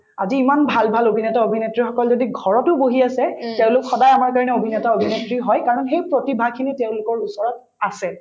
আজি ইমান ভাল ভাল অভিনেতা-অভিনেত্ৰীসকল যদি ঘৰতো বহি আছে তেওঁলোক সদায় আমাৰ কাৰণে অভিনেতা-অভিনেত্ৰী হয় কাৰণ সেই প্ৰতিভাখিনি তেওঁলোকৰ ওচৰত আছে